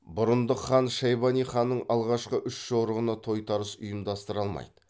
бұрындық хан шайбани ханның алғашқы үш жорығына тойтарыс ұйымдастыра алмайды